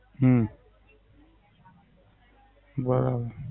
હમ બરાબર.